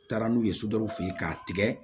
N taara n'u ye sodɔw fɛ yen k'a tigɛ